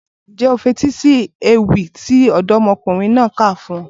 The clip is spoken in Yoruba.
Ǹjẹ́ o fetí sí ewì tí ọ̀dọ́mọkùnrin náà kà fún ọ?